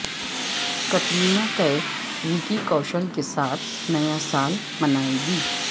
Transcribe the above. Katrina Kaif Vicky Kaushal کے ساتھ نیا سال منائے گی